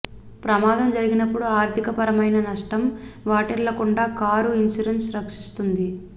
ప్రమాదం జరిగినప్పుడు ఆర్ధిక పరమైన నష్టం వాటిల్లకుండా కారు ఇన్సూరెన్స్ రక్షిస్తుంది